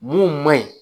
Mun man ɲi